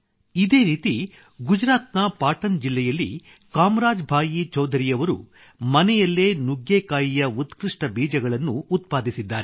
ಇದೇ ರೀತಿ ಗುಜರಾತ್ ನ ಪಾಟನ್ ಜಿಲ್ಲೆಯಲ್ಲಿ ಕಾಮರಾಜ್ ಭಾಯಿ ಚೌಧರಿಯವರು ಮನೆಯಲ್ಲೇ ನುಗ್ಗೆಕಾಯಿಯ ಉತ್ಕೃಷ್ಟ ಬೀಜಗಳನ್ನು ಉತ್ಪಾದಿಸಿದ್ದಾರೆ